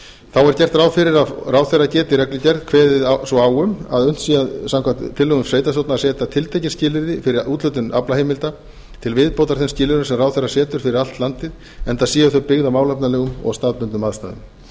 þá er gert ráð fyrir að ráðherra geti í reglugerð kveðið svo á að unnt sé samkvæmt tillögum sveitarstjórna að setja tiltekin skilyrði fyrir úthlutun aflaheimilda til viðbótar þeim skilyrðum sem ráðherra setur fyrir allt landið enda séu þau byggð á málefnalegum og staðbundnum aðstæðum